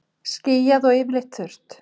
Skýjað og yfirleitt þurrt